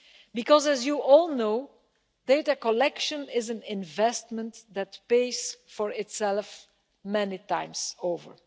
Because, as you all know, data collection is an investment that pays for itself many times over.